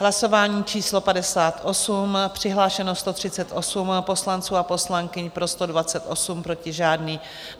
Hlasování číslo 58, přihlášeno 138 poslanců a poslankyň, pro 128, proti žádný.